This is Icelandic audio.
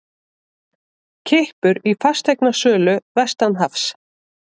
Kippur í fasteignasölu vestanhafs